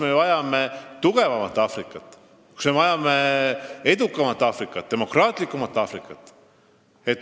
Me vajame tugevamat Aafrikat, me vajame edukamat, demokraatlikumat Aafrikat.